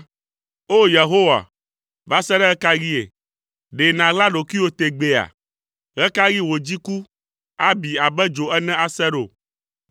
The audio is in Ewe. O! Yehowa va se ɖe ɣe ka ɣie? Ɖe nàɣla ɖokuiwò tegbea? Ɣe ka ɣi wò dziku abi abe dzo ene ase ɖo?